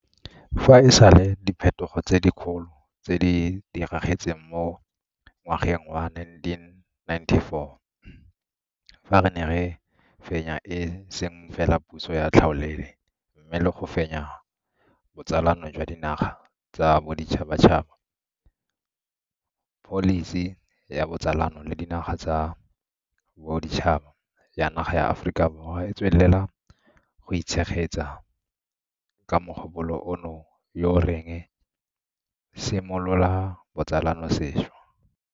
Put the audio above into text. Fa e sale diphetogo tse di kgolo tse di diragetseng mo ngwageng wa 1994 fa re ne re fenya e seng fela puso ya tlhaolele, mme le go fenya botsalano jwa dinaga tsa boditšhabatšhaba, pholisi ya botsalano le dinaga tsa boditšhaba ya naga ya Aforika Borwa e tswelela go itshegetsa ka mogopolo ono yo o reng simolola botsalano sešwa.